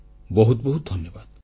ବହୁତ ବହୁତ ଧନ୍ୟବାଦ